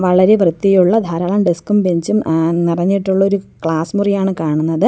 വളരെ വൃത്തിയുള്ള ധാരാളം ഡെസ്ക് ഉം ബെഞ്ച് ഉം എ നിറഞ്ഞിട്ടുള്ള ഒരു ക്ലാസ് മുറിയാണ് കാണുന്നത്.